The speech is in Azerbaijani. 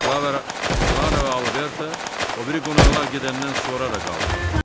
Klara və Alberto o biri qonaqlar gedəndən sonra da qaldılar.